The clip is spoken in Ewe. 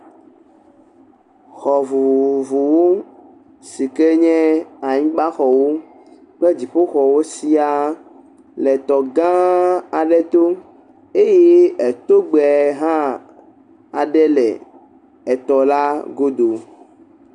Xɔ vovovowo si ke nye anyigbaxɔwo kple dziƒoxɔwo siaa le tɔ gããaa aɖe to. Eye etogbe hã aɖe le etɔla godo.